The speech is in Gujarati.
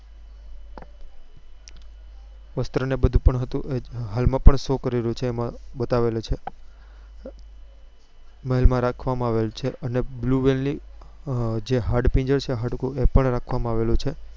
વસ્ત્ર ને બધું હતું હાલ માં પણ show કરેલું છે એમાં બતાવેલું છે મહેલ માં રાખવા માં આવેલું છે અને blue whale જે હાડપિંજર છે હાડકું એ પણ રાખવા માં આવ્યું છે